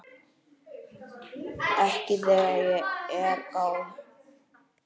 Ekki þegar að er gáð.